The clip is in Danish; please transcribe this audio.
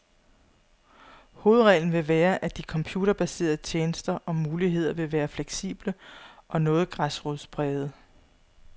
Hovedreglen vil være, at de computerbaserede tjenester og muligheder vil være fleksible og noget græsrodsprægede.